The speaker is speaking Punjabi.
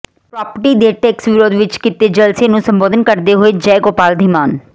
ਪ੍ਰਾਪਰਟੀ ਟੈਕਸ ਦੇ ਵਿਰੋਧ ਵਿਚ ਕੀਤੇ ਜਲਸੇ ਨੂੰ ਸੰਬੋਧਨ ਕਰਦੇ ਹੋਏ ਜੈ ਗੋਪਾਲ ਧੀਮਾਨ